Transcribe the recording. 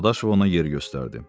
Dadaşov ona yer göstərdi.